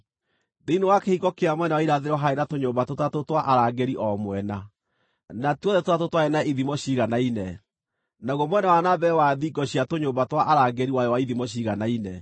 Thĩinĩ wa kĩhingo kĩa mwena wa irathĩro haarĩ na tũnyũmba tũtatũ twa arangĩri o mwena; na tuothe tũtatũ twarĩ na ithimo ciiganaine, naguo mwena wa na mbere wa thingo cia tũnyũmba twa arangĩri warĩ wa ithimo ciiganaine.